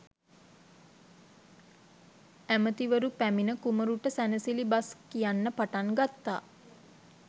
ඇමතිවරු පැමිණ කුමරුට සැනසිලි බස් කියන්න පටන් ගත්තා.